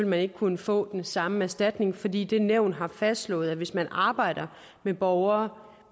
man ikke kunne få den samme erstatning fordi det nævn har fastslået at hvis man arbejder med borgere